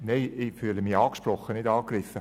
Ich fühle mich angesprochen, nicht angegriffen.